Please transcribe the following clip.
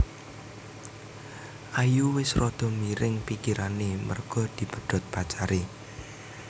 Ayu wes rodo miring pikirane merga dipedhot pacare